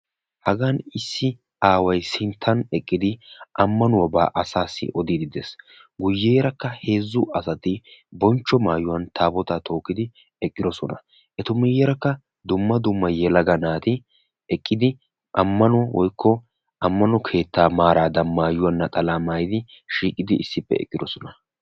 Hagaan issi aaway sinttan eqqidi ammanuwaabaa asaassi odiidi de'ees. guyeerakka heezzu asati bonchcho maayuwan taabootaa tookkidi eqqidosona. etu miyiyaara dumma dumma yelaga aati eqqidi ammano keettaa maaradan naxalaa maayidi issippe eqqidosona.